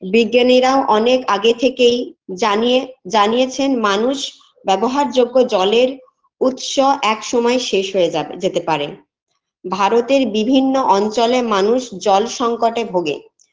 বিজ্ঞানীরা ও অনেক আগে থেকেই জানিয়ে জানিয়েছেন মানুষ ব্যবহারযোগ্য জলের উৎস একসময় শেষ হয়ে যাবে যেতে পারে ভারতের বিভিন্ন অঞ্চলে মানুষ জল সংকটে ভোগে